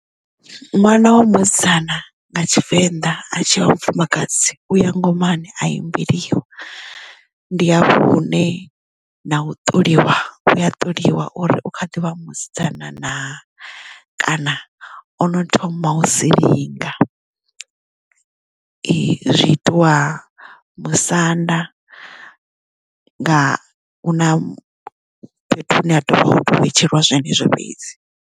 Ṅwana wa musidzana nga tshivenḓa a tshi vha mufumakadzi u ya ngomani a imbeliwa ndi hafha hune na u ṱoliwa uya ṱoliwa uri u kha ḓivha musidzana na kana ono thoma u silinga zwi itiwa musanda nga na fhethu hune ha tovha vhetshelwa zwenezwo fhedzi.